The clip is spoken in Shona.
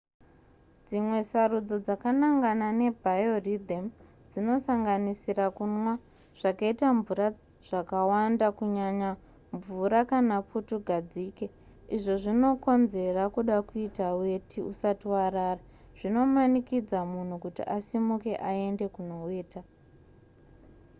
dzimwe sarudzo dzakanangana nebiorythym dzinosanganisira kunwa zvakaita mvura zvakawanda kunyanya mvura kana putugadzike izvo zvinokonzera kuda kuita weti usati warara zvinomanikidza munhu kuti asimuke aende kunoweta